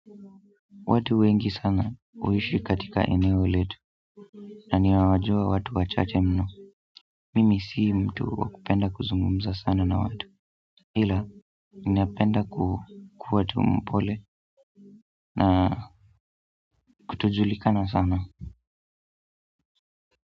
Watu wengi sana huishi katika eneo letu naniwajua watu wachache mno mimi si mtu wakupenda kuzungumza sana na watu ila ninapenda ku kuwa tu mpole na kutojulikana sana.